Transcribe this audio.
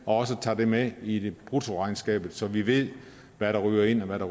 også tager det med i bruttoregnskabet så vi ved hvad der ryger ind og hvad der